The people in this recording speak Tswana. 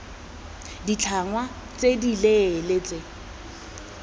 b ditlhangwa tse dileele tsa